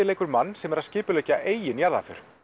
leikur mann sem er að skipulegga eigin jarðarför